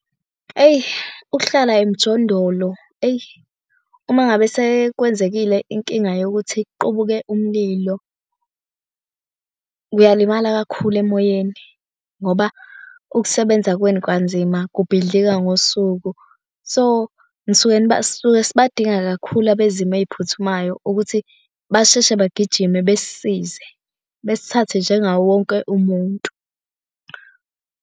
Eyi ukuhlala emjondolo eyi uma ngabe sekwenzekile inkinga yokuthi kuqubuke umlilo, uyalimala kakhulu emoyeni ngoba ukusebenza kwenu kanzima kubidlika ngosuku. So nisuke sisuke sibadinga kakhulu abezimo eziphuthumayo ukuthi basheshe bagijime besisize besithathe njengawo wonke umuntu.